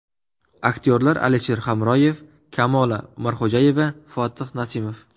Aktyorlar Alisher Hamroyev, Kamola Umarxo‘jayeva, Fotih Nasimov.